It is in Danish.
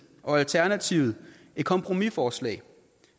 og alternativet et kompromisforslag